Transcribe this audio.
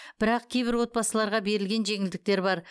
бірақ кейбір отбасыларға берілген жеңілдектер бар